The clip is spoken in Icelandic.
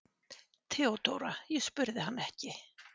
THEODÓRA: Ég spurði hann ekki.